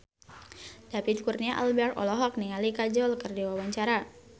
David Kurnia Albert olohok ningali Kajol keur diwawancara